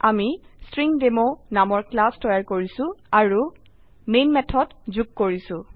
আমি ষ্ট্ৰিংডেমো নামৰ ক্লাস তৈয়াৰ কৰিছো আৰু মেন মেথড যুগ কৰিছো